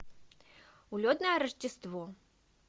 улетное рождество